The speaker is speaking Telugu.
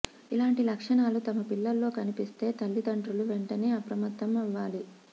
ఇలాంటి లక్షణాలు తమ పిల్లల్లో కనిపిస్తే తల్లిదండ్రులు వెంటనే అప్రమత్తం అవ్వాలి